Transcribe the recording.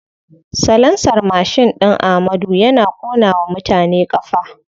Salansar mashin ɗin amadu yana ƙona wa mutane ƙafa.